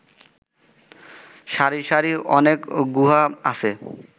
সারি সারি অনেক গুহা আছে